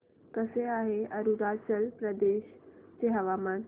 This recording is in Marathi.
कसे आहे अरुणाचल प्रदेश चे हवामान